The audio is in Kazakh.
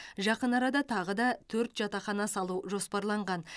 жақын арада тағы да төрт жатақхана салу жоспарланған